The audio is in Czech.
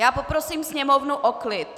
Já poprosím Sněmovnu o klid!